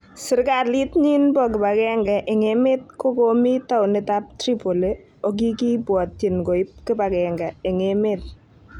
Sirkalit nyin nebo kipagenge eng emet kokomi townit ab Tripoli okikibwotyin koib kipagenge eng emet.